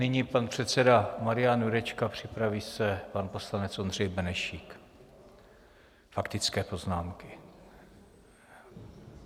Nyní pan předseda Marian Jurečka, připraví se pan poslanec Ondřej Benešík, faktické poznámky.